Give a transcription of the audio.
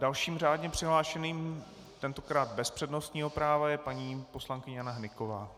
Dalším řádně přihlášeným, tentokrát bez přednostního práva, je paní poslankyně Jana Hnyková.